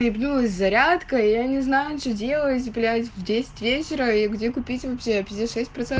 ты вернулась зарядка и я не знаю что делать блять в десять вечера и где купить все эти шесть просм